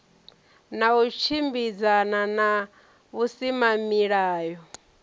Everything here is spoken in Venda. na u tshimbidzana na vhusimamilayo